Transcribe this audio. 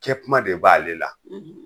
Kɛ kuma de b'ale la